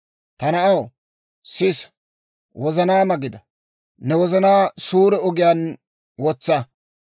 Ta na'aw, sisa; wozanaama gida; ne wozanaa suure ogiyaan wotsa.